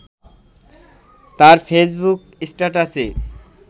তার ফেইসবুক স্ট্যাটাসে